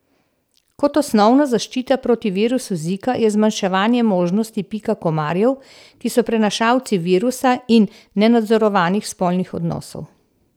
Kot osnovna zaščita proti virusu Zika je zmanjševanje možnosti pika komarjev, ki so prenašalci virusa in nenadzorovanih spolnih odnosov.